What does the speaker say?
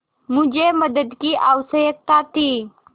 मुझे मदद की आवश्यकता थी